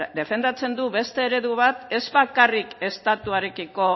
defendatzen du beste eredu bat ez bakarrik estatuarekiko